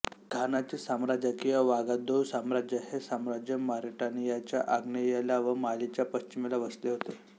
घानाचे साम्राज्य किंवा वागादोउ साम्राज्य हे साम्राज्य मॉरिटानियाच्या आग्नेयेला व मालीच्या पश्चिमेला वसले होते